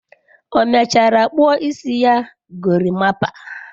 O mechara kpuo isi ya gorimapa?